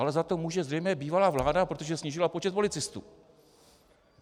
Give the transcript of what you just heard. Ale za to může zřejmě bývalá vláda, protože snížila počet policistů.